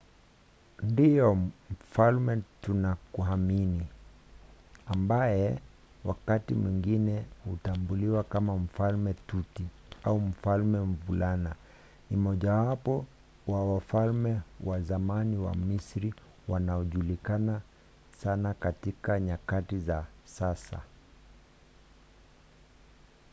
ndiyo! mfalme tutankhamuni ambaye wakati mwingine hutambuliwa kama mfalme tuti” au mfalme mvulana” ni mmojawapo wa wafalme wa zamani wa misri wanaojulikana sana katika nyakati za sasa